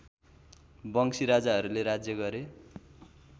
वंशी राजाहरूले राज्य गरे